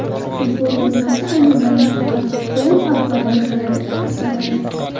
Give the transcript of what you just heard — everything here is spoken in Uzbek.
Futbol dunyosi ayni damda faqat Pol Pogbani gapiradi, ko‘rsatadi.